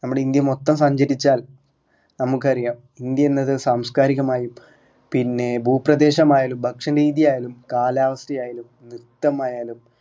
നമ്മുടെ ഇന്ത്യ മൊത്തം സഞ്ചരിച്ചാൽ നമുക്ക് അറിയ ഇന്ത്യ എന്നത് സാംസ്‌കാരികമായും പിന്നെ ഭൂപ്രദേശമായാലും ഭക്ഷണ രീതിയാലും കാലാവസ്ഥയാലും നൃത്തമായാലും